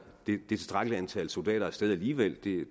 det tilstrækkelige antal soldater af sted alligevel